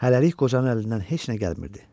Hələlik qocanın əlindən heç nə gəlmirdi.